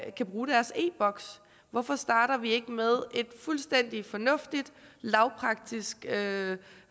ikke kan bruge deres e boks hvorfor starter vi ikke med et fuldstændig fornuftigt lavpraktisk